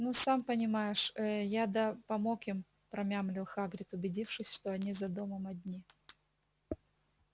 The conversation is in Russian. ну сам понимаешь э я да помог им промямлил хагрид убедившись что они за домом одни